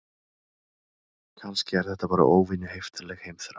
Kannski er þetta bara óvenju heiftarleg heimþrá.